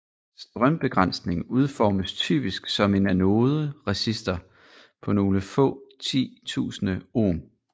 Strømbegrænsning udformes typisk som en anode resistor på nogle få 10 tusinde ohm